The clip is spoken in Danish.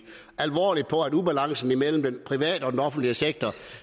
alvorligt på at ubalancen mellem den private og den offentlige sektor